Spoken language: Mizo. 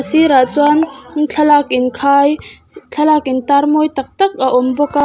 sirah chuan thlalak inkhai thlalak intar mawi tak tak a awm bawk a.